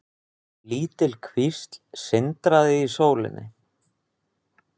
Lítil kvísl sindraði í sólinni.